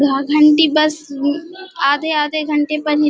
घाघंटी bus भी आधे-आधे घंड़े पर नी --